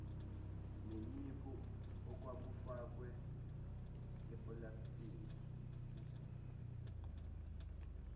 neniphu okwakufakwe epulastikini